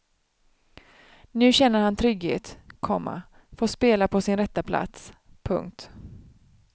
Nu känner han trygghet, komma får spela på sin rätta plats. punkt